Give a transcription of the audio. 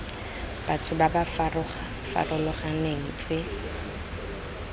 batho ba ba farologaneng tse